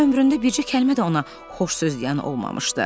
Hələ ömründə bircə kəlmə də ona xoş söz deyən olmamışdı.